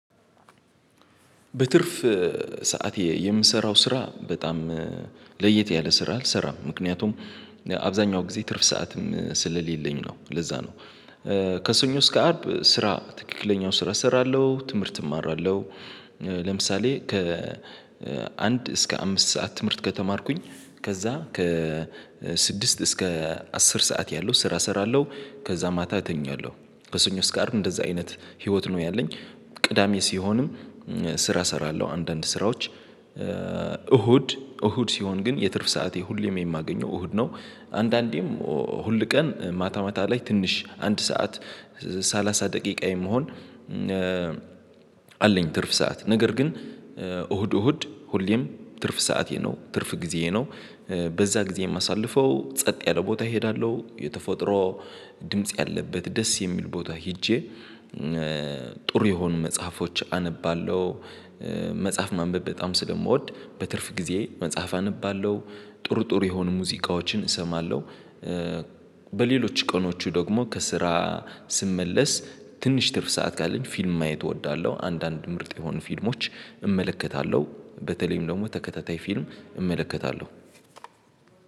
በትርፍ ሰዓት የምሰራው ስራ በጣም ለየት ያለ ስራ አልሰራም ምክንያቱም አብዛኛው ጊዜ ትርፍ ሰዓትም ስለሌለኝ ነው ለዛ ነው። ከሰኞ እስከ አርብ ስራ ትክክለኛውን ስራ እሰራለሁ ትምህርት እማራለሁ ለምሳሌ ከ አንድ እስከ አምስት ሰዓት ትምህርት ከተማርኩኝ ከዛ ከ ስድስት እስከ አስር ሰዓት ያለው ስራ እሰራለሁ ከዛ ማታ እተኛለሁ ከሰኞ እስከ አርብ እንደዛ አይነት ህይወት ነው ያለኝ ቅዳሜ ሲሆንም ስራ እሰራለሁ አንዳንድ ስራዎች እሁድ እሁድ ሲሆን ግን የትርፍ ሰዓቴ ሁሌም የማገኘው እሁድ ነው አንዳንዴም ሁል ቀን ማታ ማታ ላይ ትንሽ አንድ ሰዓት ሰላሳ ደቂቃ የመሆን አለኝ ትርፍ ሰዓት ነገር ግን እሁድ እሁድ ሁሌም ትርፍ ሰዓቴ ነው ትርፍ ጊዜዬ ነው። በዛ ጊዜ የማሳልፈው ጸጥ ያለ ቦታ እሄዳለሁ የተፈጥሮ ድምጽ ያለበት ደስ የሚል ቦታ ሄጄ ጥሩ የሆኑ መጽሐፎች አነባለሁ መጽሐፍ ማንበብ በጣም ስለምወድ በትርፍ ጊዜ መጽሐፍ አነባለሁ ጥሩ ጥሩ የሆኑ ሙዚቃዎችን እሰማለሁ በሌሎች ቀኖቹ ደግሞ ከስራ ስመለስ ትንሽ ትርፍ ሰዓት ካለኝ ፊልም ማየት እወዳለሁ አንዳንድ ምርጥ የሆኑ ፊልሞች እመለከታለሁ በተለይም ደግሞ ተከታታይ ፊልም እመለከታለሁ